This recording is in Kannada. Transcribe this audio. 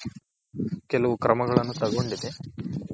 ಕೆಲವು ಕ್ರಮಗಳನ್ನು ತಗೊಂಡಿದೆ